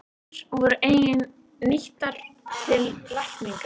Rætur voru einnig nýttar til lækninga.